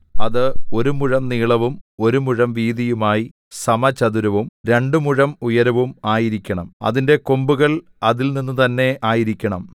അത് ഒരു മുഴം നീളവും ഒരു മുഴം വീതിയുമായി സമചതുരവും രണ്ടു മുഴം ഉയരവും ആയിരിക്കണം അതിന്റെ കൊമ്പുകൾ അതിൽനിന്ന് തന്നെ ആയിരിക്കണം